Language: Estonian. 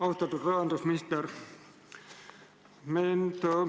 Austatud rahandusminister!